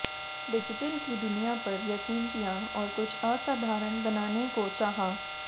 digital की दुनिया पर यकीन किया और कुछ असाधारण बनाने को चाहा